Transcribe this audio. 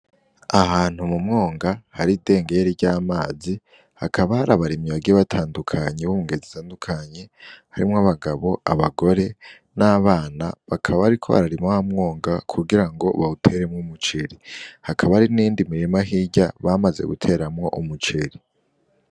Ahantu m'umwonga hari idengeri ry'amazi hakaba hari abarimyi bagiye batandukanye bo mungeri zitandukanye harimwo ;abagabo ,abagore n'abana bakaba bariko bararima w'amwonga kugirango bateremwo umuceri hakaba hari n'iyindi mirima hirya bamaze guteremwo umuceri.